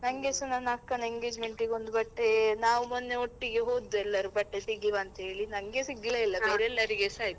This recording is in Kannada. ನಂಗೆಸ ನನ್ನ ಅಕ್ಕನ engagement ಗೆ ಒಂದು ಬಟ್ಟೆ, ನಾವು ಮೊನ್ನೆ ಒಟ್ಟಿಗೆ ಹೋದ್ದು ಎಲ್ಲರೂ ಬಟ್ಟೆ ತೆಗಿವ ಅಂತ ಹೇಳಿ ನಂಗೆ ಸಿಗ್ಲೇ ಇಲ್ಲ, ಬೇರೆ ಎಲ್ಲರಿಗೆಸ ಆಯ್ತು.